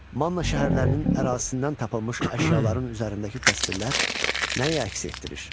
Manna şəhərlərinin ərazisindən tapılmış əşyaların üzərindəki təsvirlər nəyi əks etdirir?